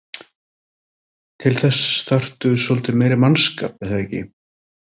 Til þess þarftu svolítið meiri mannskap er það ekki?